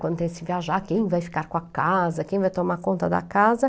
Quando tem esse viajar, quem vai ficar com a casa, quem vai tomar conta da casa?